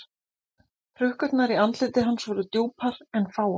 Hrukkurnar í andliti hans voru djúpar en fáar.